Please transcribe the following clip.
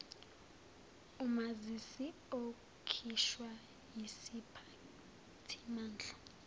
umazisi okhishwa yisiphathimandla